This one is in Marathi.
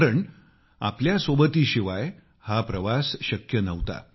कारण आपल्या साथी शिवाय हा प्रवास शक्य नव्हता